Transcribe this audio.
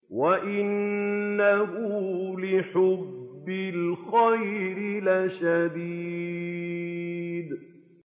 وَإِنَّهُ لِحُبِّ الْخَيْرِ لَشَدِيدٌ